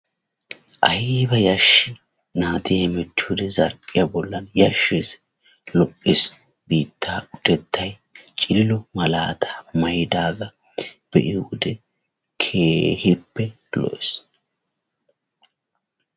Ayiiba yashshii! naati hemettiyo wode zarphphiyaa bollan yashshes. Lo'ees biittaa utettay cililo malaataa mayidagaa be'iyoode keehippe lo'ees.